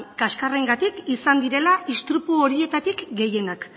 kaskarrengatik izan direla istripu horietatik gehienak